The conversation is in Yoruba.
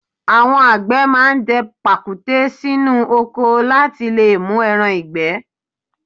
Àwọn àgbẹ̀ máa ń dẹ pàkúté sínú oko láti lè mú ẹran ìgbẹ́?